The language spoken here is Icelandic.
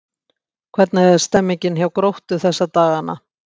Hvernig er stemningin hjá Gróttu þessa dagana?